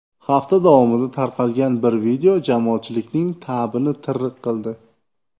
Hafta davomida tarqalgan bir video jamoatchilikning ta’bini tirriq qildi .